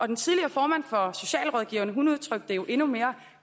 den tidligere formand for socialrådgiverne udtrykte det jo endnu mere